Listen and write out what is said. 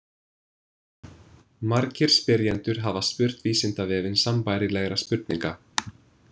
Margir spyrjendur hafa spurt Vísindavefinn sambærilegra spurninga.